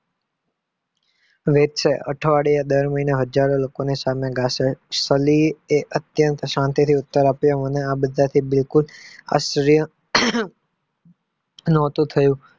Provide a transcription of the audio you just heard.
અઠવાડિયે દર મહિને હજારો લોકોં સામે તે અત્યંત શાંતિ થી ઉત્તર આપ્યો અને આ બધા થી બિલકુલ